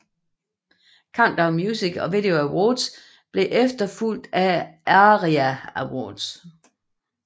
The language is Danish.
Countdown Music and Video Awards blev efterfulgt af ARIA Awards